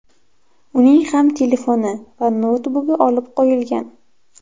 Uning ham telefoni va noutbuki olib qo‘yilgan.